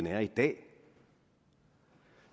er i dag